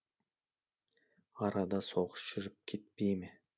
арада соғыс жүріп кетпей ме